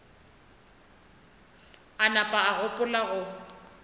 a napa a gopola go